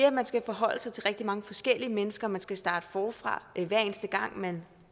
at man skal forholde sig til rigtig mange forskellige mennesker og man skal starte forfra hver eneste gang man